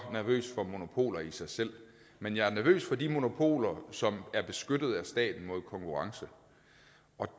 nervøs for monopoler i sig selv men jeg er nervøs for de monopoler som er beskyttet af staten mod konkurrence og